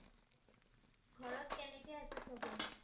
ঘৰত কেনেকৈ আছে সবে?